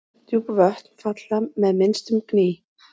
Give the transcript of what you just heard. Djúp vötn falla fram með minnstum gný.